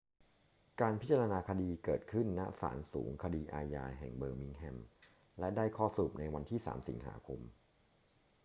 การพิจารณาคดีเกิดขึ้น ณ ศาลสูงคดีอาญาแห่งเบอร์มิงแฮม และได้ข้อสรุปในวันที่ 3 สิงหาคม